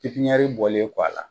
Pipiɲɛri bɔlen kɔ a la